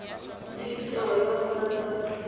le ditirelo tsa botsadi ka